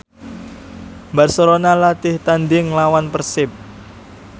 Barcelona latih tandhing nglawan Persib